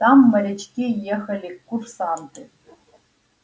там морячки ехали курсанты